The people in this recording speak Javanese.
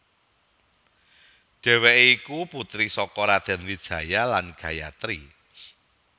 Dhèwèké iku putri saka Raden Wijaya lan Gayatri